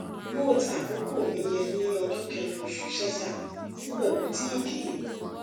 moth àkókò mi yẹ ní ọjọ kẹrin oṣù sẹsà síbẹ kò tí ì dé